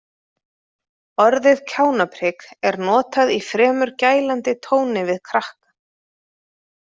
Orðið kjánaprik er notað í fremur gælandi tóni við krakka.